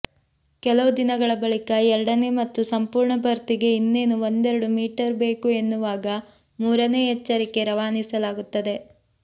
ಕೆಲವು ದಿನಗಳ ಬಳಿಕ ಎರಡನೇ ಮತ್ತು ಸಂಪೂರ್ಣ ಭರ್ತಿಗೆ ಇನ್ನೇನು ಒಂದೆರಡು ಮೀಟರ್ ಬೇಕು ಎನ್ನುವಾಗ ಮೂರನೇ ಎಚ್ಚರಿಕೆ ರವಾನಿಸಲಾಗುತ್ತದೆ